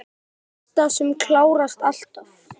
Sú besta, sem klárast alltaf.